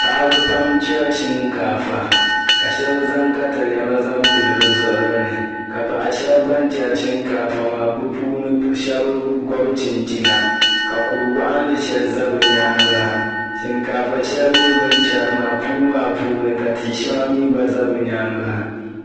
Paɣ'ba pam chɛri shinkaafa ka shɛba zaŋ takalɛma zaŋ pili bɛ zuɣiri ni ka paɣa shɛba ban chɛri shinkaafa maa puuni shɛba gɔbi chinchina ka kuri waɣinli shɛli sa bɛ nyaaŋa ha shinkaafa shɛli mi bɛ chɛri maa puu maa puuni ka tia shɛŋa mi gba za bɛ nyaaŋa ha.